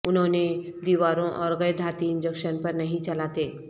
انہوں نے دیواروں اور غیر دھاتی انجکشن پر نہیں چلاتے